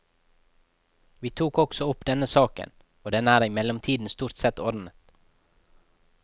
Vi tok også opp denne saken, og den er i mellomtiden stort sett ordnet.